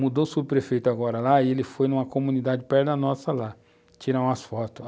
Mudou-se o prefeito agora lá e ele foi numa comunidade perto da nossa lá, tirar umas fotos.